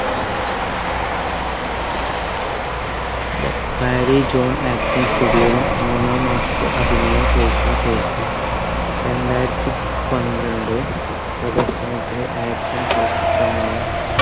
may marriage on acting studio യിൽ മൂന്നാം മാസത്തെ അഭിനയ course ന് ശേഷം രണ്ടായിരത്തി പന്ത്രണ്ട് പ്രദർശനത്തിൽ action ചലച്ചിത്രമായ